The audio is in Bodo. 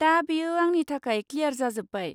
दा बेयो आंनि थाखाय क्लियार जाजोब्बाय।